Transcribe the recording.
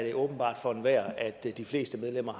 er åbenbart for enhver at de fleste medlemmer